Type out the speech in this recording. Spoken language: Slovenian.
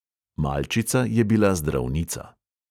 Malčica je bila zdravnica.